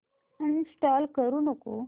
uninstall करू नको